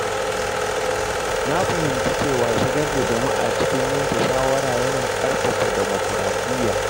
Na fahimci cewa shigar da jama’a cikin yanke shawara yana ƙarfafa dimokuraɗiyya.